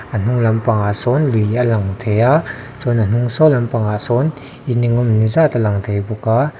a hnung lampangah sawn lui a lang thei a chuan a hnung saw lampang ah sawn in eng emawni zat a lang thei a.